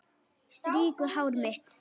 Strýkur hár mitt.